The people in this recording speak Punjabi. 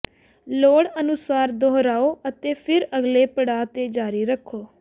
ਲੋੜ ਅਨੁਸਾਰ ਦੁਹਰਾਓ ਅਤੇ ਫਿਰ ਅਗਲੇ ਪੜਾਅ ਤੇ ਜਾਰੀ ਰੱਖੋ